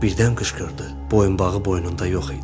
Birdən qışqırdı: boyunbağı boynunda yox idi.